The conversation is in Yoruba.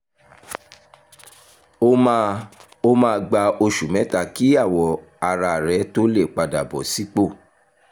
ó máa ó máa gba oṣù mẹ́ta kí awọ ara rẹ tó lè padà bọ̀ sípò